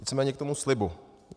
Nicméně k tomu slibu.